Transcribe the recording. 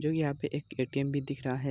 जो यहाँ पे एक ए.टी.एम. भी दिख रहा है।